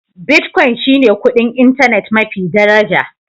Bitcoin shi ne kuɗin intanet mafi daraja.